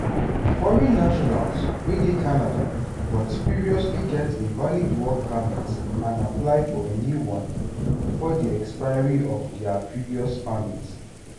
foreign nationals wey dey canada but previously get a valid work permit and apply for a new one bifor di expiry of dia previous permit.